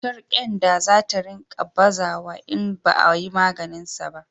cutar kyanda za ta ringa bazawa in ba a yi maganinsa ba